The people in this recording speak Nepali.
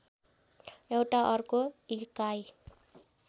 एउटा अर्को इकाइ